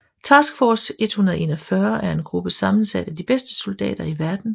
Task Force 141 er en gruppe sammensat af de bedste soldater i verden